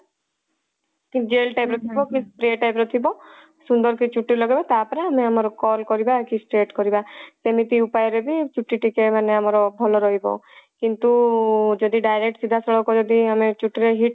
gel type ର ଥିବ କି spray type ର ଥିବ ସୁନ୍ଦର କି ଚୁଟି ରେ ଲଗେଇବ ତାପରେ ଆମେ ଆମର curl କରିବା କି straight କରିବା ସେମିତି ଉପାୟ ରେ ବି ଚୁଟି ଟିକେ ମାନେ ଆମର ଭଲ ରହିବ କିନ୍ତୁ ଯଦି direct ସିଧା ସଳଖ ଯଦି ଆମେ ଚୁଟି ରେ heat